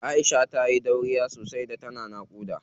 Aisha tayi dauriya sosai da tana naƙuda.